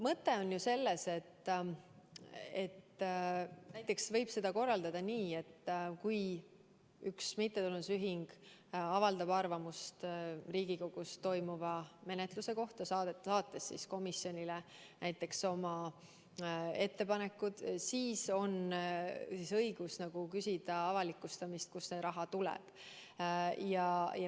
Mõte on selles, et näiteks võib korraldada nii, et kui üks mittetulundusühing avaldab arvamust mõne Riigikogus menetletava eelnõu kohta, saates konkreetsele komisjonile oma ettepanekud, siis on õigus küsida, kust nende raha tuleb.